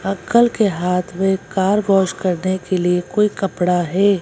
Uncle के हाथ में कार वॉश करने के लिए कोई कपड़ा है।